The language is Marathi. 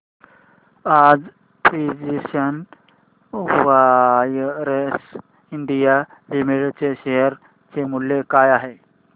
आज प्रिसीजन वायर्स इंडिया लिमिटेड च्या शेअर चे मूल्य काय आहे